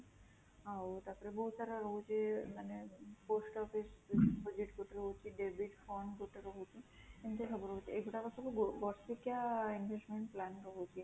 ଆଁ ଆଉ ତା ପରେ ବହୁତ ସାରା ରହୁଛି ମାନେ post office deposit ଯୋଉଠି ରହୁଛି debit fund ଯୋଉଟା ରହୁଛି, ଏମିତି ସବୁ ରହୁଛି ଏ ଗୁଡାକ ସବୁ ବାର୍ଷିକୀୟା investment plan ରହୁଚି